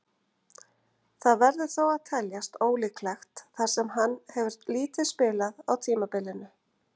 Það verður þó að teljast ólíklegt þar sem hann hefur lítið spilað á tímabilinu.